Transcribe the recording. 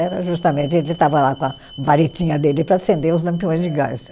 Era justamente, ele estava lá com a varetinha dele para acender os lampiões de gás.